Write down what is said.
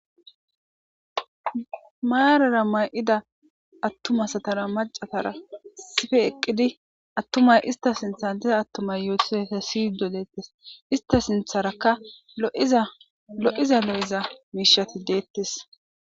maarara may7ida attuma satara macatara sife eqqidi attumay ista sintha diza attumay yootizayta siydo deettes ista sintharakka lo7iza lo7eza miishati deettes